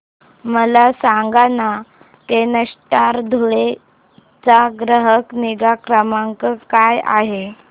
मला सांगाना केनस्टार धुळे चा ग्राहक निगा क्रमांक काय आहे